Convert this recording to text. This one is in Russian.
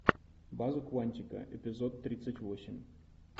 база куантико эпизод тридцать восемь